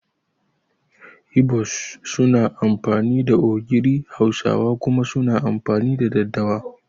Ibo's suna amfani da ogiri Hausawa kuma suna amfani da daddawa